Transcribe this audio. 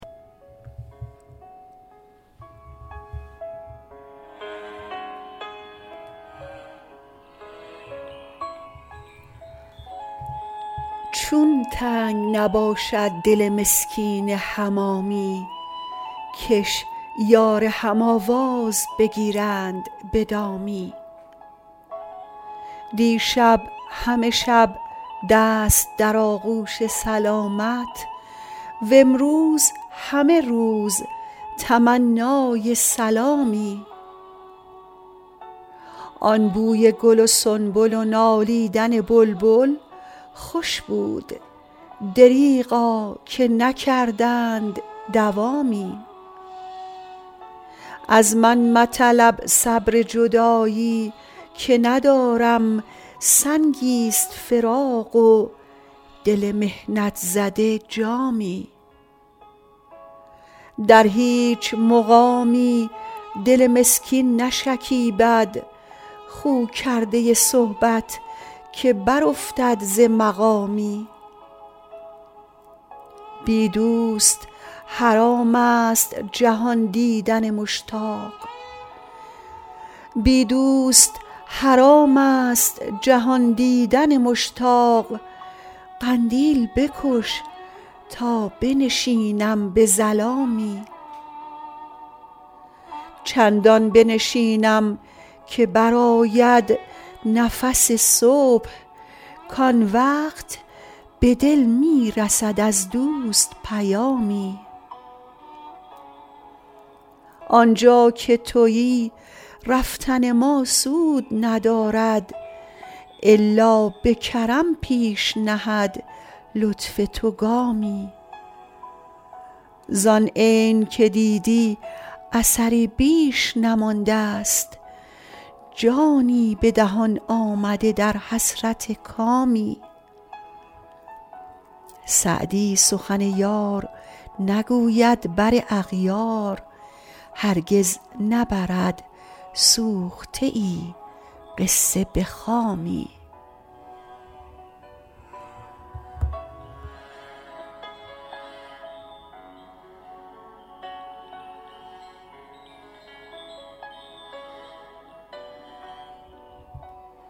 چون تنگ نباشد دل مسکین حمامی کش یار هم آواز بگیرند به دامی دیشب همه شب دست در آغوش سلامت وامروز همه روز تمنای سلامی آن بوی گل و سنبل و نالیدن بلبل خوش بود دریغا که نکردند دوامی از من مطلب صبر جدایی که ندارم سنگی ست فراق و دل محنت زده جامی در هیچ مقامی دل مسکین نشکیبد خو کرده صحبت که برافتد ز مقامی بی دوست حرام است جهان دیدن مشتاق قندیل بکش تا بنشینم به ظلامی چندان بنشینم که برآید نفس صبح کآن وقت به دل می رسد از دوست پیامی آن جا که تویی رفتن ما سود ندارد الا به کرم پیش نهد لطف تو گامی زآن عین که دیدی اثری بیش نمانده ست جانی به دهان آمده در حسرت کامی سعدی سخن یار نگوید بر اغیار هرگز نبرد سوخته ای قصه به خامی